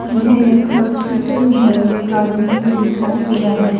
यह एक हॉस्पिटल है एक भी आदमी दिखाई दे रहा है।